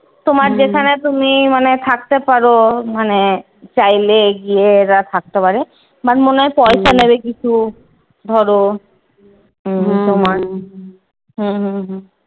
তোমার যেখানে তুমি মানে থাকতে পারো মানে চাইলেই গিয়ে থাকতে পারে। তোমার মনে হয় পয়সা নেবে কিছু ধরো হম হম হম